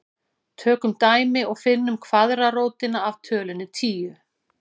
Tökum dæmi og finnum kvaðratrótina af tölunni tíu.